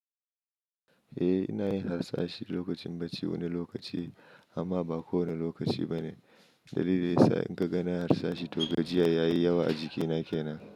Eh, ina yin harsashi lokacin bacci wani lokaci amma ba kowane lokaci ba ne. Dalili yasa inkaga nayi harsashi toh gajiya ya yi yawa a jikina kenan.